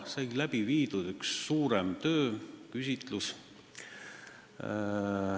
Sai ära tehtud üks suurem töö, sai tehtud üks küsitlus.